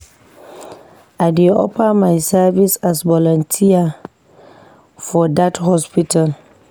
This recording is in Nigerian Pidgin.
I dey offer my service as volunteer for dat hospital.